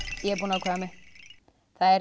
ég er búin að ákveða mig það er